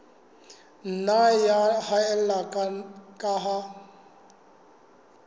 nna ya haella ka ha